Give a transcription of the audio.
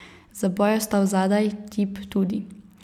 Zaboj je ostal zadaj, tip tudi.